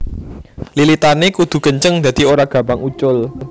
Lilitané kudu kenceng dadi ora gampang ucul